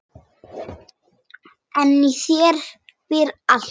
En í þér býr allt.